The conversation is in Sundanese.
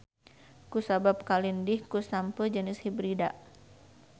Ku sabab kalindih ku sampeu jenis hibrida.